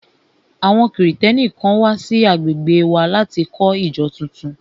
Àwọn Kristẹni kan wà sí agbègbè wa láti kọ́ ìjọ tuntun